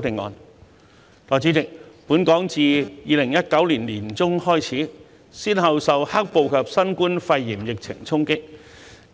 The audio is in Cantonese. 代理主席，本港自2019年年中開始，先後受"黑暴"及新冠肺炎疫情衝擊，